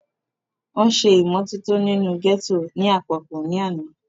wọ́n ṣe ìmọ́tótó inú gẹ́tò ní àpapọ̀ ní àná